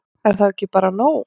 Er það þá ekki bara nóg?